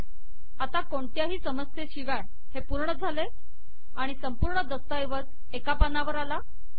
आता कोणत्याही समस्येशिवाय हे पूर्ण झाले आणि संपूर्ण दस्तऐवज एका पानावर आला